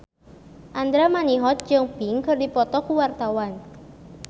Andra Manihot jeung Pink keur dipoto ku wartawan